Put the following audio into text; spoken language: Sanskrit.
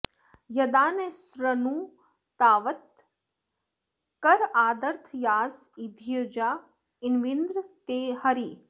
य॒दा नः॑ सू॒नृता॑वतः॒ कर॒ आद॒र्थया॑स॒ इद्योजा॒ न्वि॑न्द्र ते॒ हरी॑